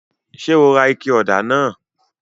Ṣe o rà ike òdà náà?